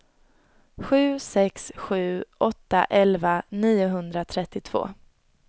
sju sex sju åtta elva niohundratrettiotvå